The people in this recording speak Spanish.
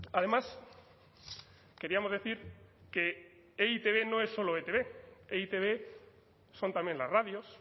además queríamos decir que e i te be no es solo etb e i te be son también las radios